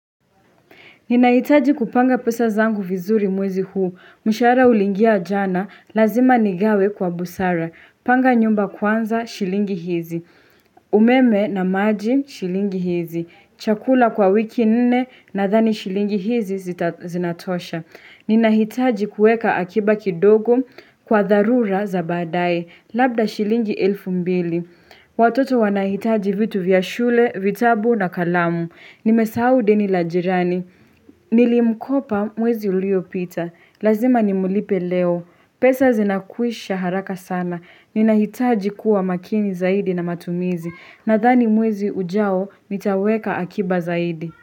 Ninahitaji kupanga pesa zangu vizuri mwezi huu, msharaha uliingia jana, lazima nigawe kwa busara, panga nyumba kwanza, shilingi hizi, umeme na maji, shilingi hizi, chakula kwa wiki nne nadhani shilingi hizi zinatosha. Ninahitaji kueka akiba kidogo kwa dharura za baadae, labda shilingi elfu mbili. Watoto wanahitaji vitu vya shule, vitabu na kalamu. Nimesahau deni la jirani. Nilimkopa mwezi uliopita. Lazima nimlipe leo. Pesa zinakwisha haraka sana. Ninahitaji kuwa makini zaidi na matumizi. Nadhani mwezi ujao nitaweka akiba zaidi.